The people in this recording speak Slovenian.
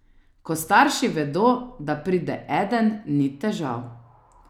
Ko starši vedo, da pride eden, ni težav.